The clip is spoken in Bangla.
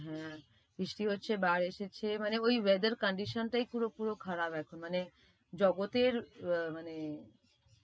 হ্যাঁ, বৃষ্টি হচ্ছে, বার এসেছে মানে ওই weather condition টায় পুরো~পুরো খারাপ এখন মানে জগতের আহ মানে